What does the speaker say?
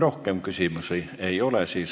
Rohkem küsimusi ei ole.